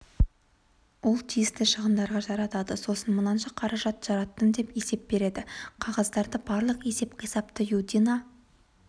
ол тиісті шығындарға жаратады сосын мынанша қаражат жараттым деп есеп береді қағаздарды барлық есеп-қисапты юдина